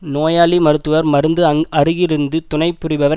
நோயாளி மருத்துவர் மருந்து அருகிருந்து துணைபுரிபவர்